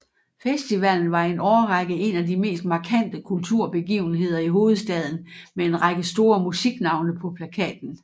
Festivalen var i en årrække en af de mest markante kulturbegivenheder i hovedstaden med en række store musiknavne på plakaten